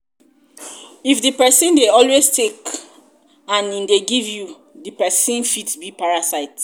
if di person dey always take and im no dey give di di person fit be parasite